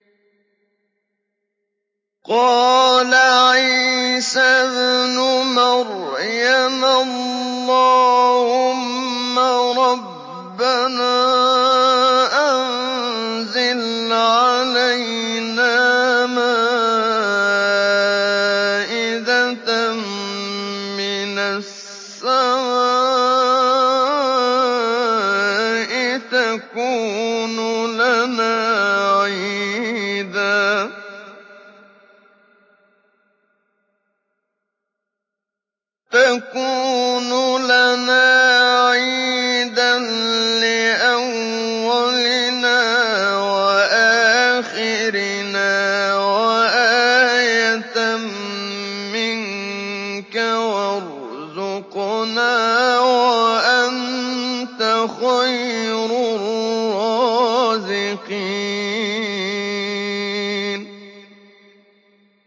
قَالَ عِيسَى ابْنُ مَرْيَمَ اللَّهُمَّ رَبَّنَا أَنزِلْ عَلَيْنَا مَائِدَةً مِّنَ السَّمَاءِ تَكُونُ لَنَا عِيدًا لِّأَوَّلِنَا وَآخِرِنَا وَآيَةً مِّنكَ ۖ وَارْزُقْنَا وَأَنتَ خَيْرُ الرَّازِقِينَ